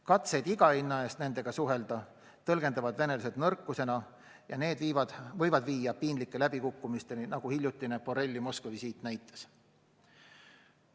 Katseid iga hinna eest nendega suhelda tõlgendavad venelased nõrkusena ja need võivad viia piinlike läbikukkumiseni, nagu hiljutine Borrelli Moskva visiit näitas.